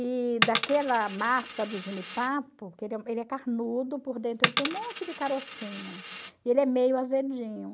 E daquela massa do jenipapo, que ele é carnudo por dentro, ele tem um monte de carocinho, e ele é meio azedinho.